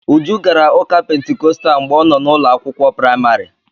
Uju gara ụka Pentikọstal mgbe ọ nọ n'ụlọ akwụkwọ praịmarị.